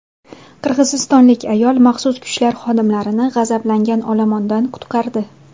Qirg‘izistonlik ayol maxsus kuchlar xodimlarini g‘azablangan olomondan qutqardi .